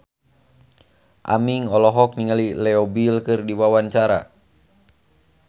Aming olohok ningali Leo Bill keur diwawancara